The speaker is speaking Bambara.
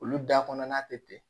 Olu da kɔnɔna tɛ ten